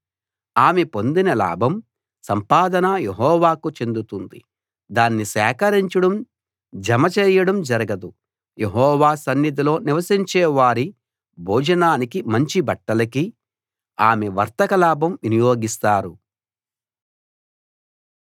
ఆమె పొందిన లాభం సంపాదన యెహోవాకు చెందుతుంది దాన్ని సేకరించడం జమ చేయడం జరగదు యెహోవా సన్నిధిలో నివసించే వారి భోజనానికీ మంచి బట్టలకీ ఆమె వర్తక లాభం వినియోగిస్తారు